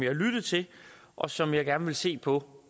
har lyttet til og som jeg gerne vil se på